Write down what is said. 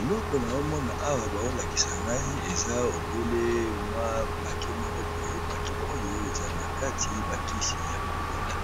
Eleko naomona awa baolakisa ngai eza obele mwa pake moko boye pake oyo eza na kati ba kisi ya komela